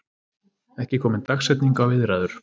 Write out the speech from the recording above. Ekki komin dagsetning á viðræður